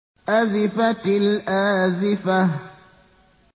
أَزِفَتِ الْآزِفَةُ